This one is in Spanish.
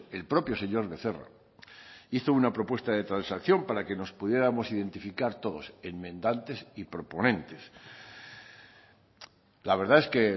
el propio señor becerra hizo una propuesta de transacción para que nos pudiéramos identificar todos enmendantes y proponentes la verdad es que